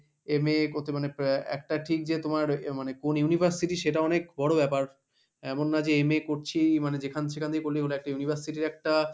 যে MA করতে মানে একটা ঠিক যে তোমার মানে কোন university সেটা অনেক বড়ো ব্যাপার, এমন না যে MA করছি মানে যেখান সেখান দিয়ে সেখান দিয়ে করলেই হলো একটা university র একটা